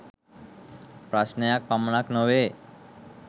ප්‍රශ්ණයක් පමණක් නොවේ.